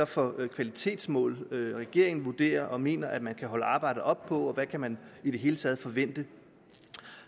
for kvalitetsmål regeringen vurderer og mener at man kan holde arbejdet op på og hvad man i det hele taget kan forvente